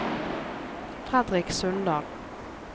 Fredrik Sundal